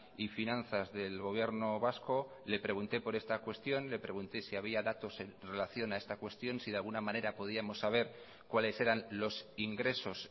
y finanzas del gobierno vasco le pregunté por esta cuestión le pregunté si había datos en relación a esta cuestión si de alguna manera podíamos saber cuáles eran los ingresos